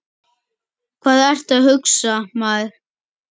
Hvað ertu að hugsa, maður?